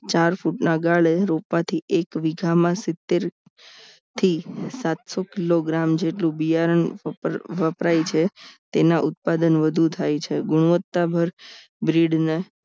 ચાર ફૂટના ગાળે રોપવાથી એક વીઘામાં સીતેર થી સાત સો કિલોગ્રામ જેટલું બિયારણ વપરાય છે તેના ઉત્પાદન વધુ થાય છે ગુણવત્તા ભર ગ્રીડ ને